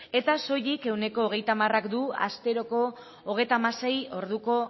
eta soilik ehuneko hogeita hamark du asteroko hogeita hamasei orduko